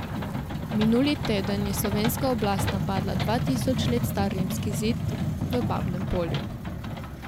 Minuli teden je slovenska oblast napadla dva tisoč let star rimski zid v Babnem Polju.